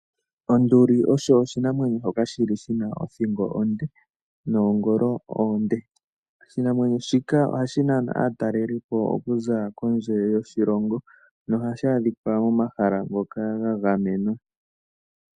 Onduli osho oshinamwenyo shoka shili shina othingo onde, nongolo onde. Oshinamwenyo shika ohashi nana aatalelipo okuza kondje yoshilongo, nohashi adhikwa momahala ngoka ga gamenwa.